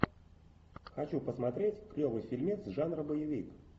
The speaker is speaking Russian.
хочу посмотреть клевый фильмец жанра боевик